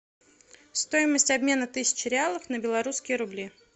стоимость обмена тысячи реалов на белорусские рубли